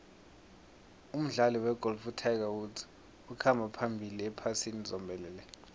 umdlali wegolf utiger woods ukhamba phambili ephasini zombelele